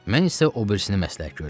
Mən isə o birisini məsləhət görərəm.